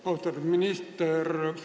Austatud minister!